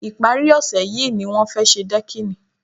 Ìpárí ọ̀sẹ̀ yìí ni wọ́n fẹ́ ṣe dẹ́kìnì